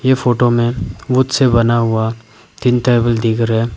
ये फोटो में वुड से बना हुआ तीन टेबल दिख रहा है।